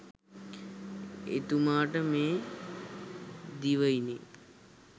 එතුමාට මේ දිවයිනේ